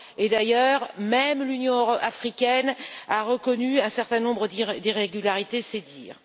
D'ailleurs, même l'Union africaine a reconnu un certain nombre d'irrégularités, c'est dire!